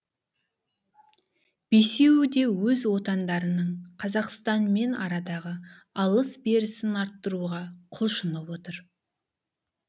бесеуі де өз отандарының қазақстанмен арадағы алыс берісін арттыруға құлшынып отыр